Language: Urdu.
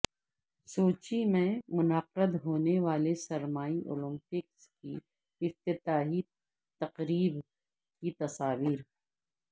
سوچی میں منعقد ہونے والے سرمائی اولمپکس کی افتتاحی تقریب کی تصاویر